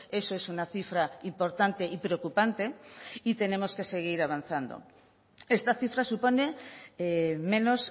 eso es una cifra importante y preocupante y tenemos que seguir avanzando esta cifra supone menos